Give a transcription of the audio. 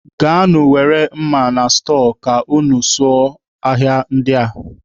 Gaanụ were mma na stọọ ka unu sụba ahịhịa ndị a.